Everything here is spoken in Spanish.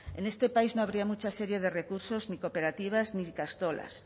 en este país no habría mucha serie de recursos ni cooperativas ni ikastolas